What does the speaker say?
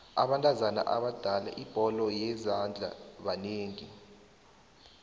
abentazana abadlala ibholo yezandla banengi